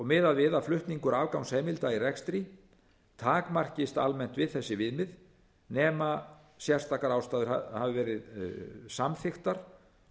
miðað við að flutningur afgangsheimilda í rekstri takmarkist almennt við þessi viðmið nema sérstakar ástæður hafi verið samþykktar